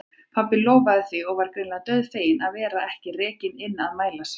Pabbi lofaði því og var greinilega dauðfeginn að vera ekki rekinn inn að mæla sig.